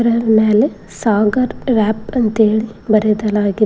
ಇದರ ಮ್ಯಾಗೆ ಸಾಗರ್ ರ್ಯಾಪ್ ಎಂದು ಬರೆಯಲಾಗಿದೆ.